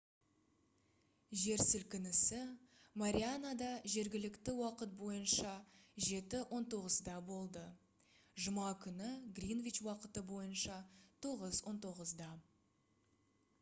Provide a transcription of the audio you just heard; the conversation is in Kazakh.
жер сілкінісі марианада жергілікті уақыт бойынша 07:19-да болды жұма күні гринвич уақыты бойынша 09:19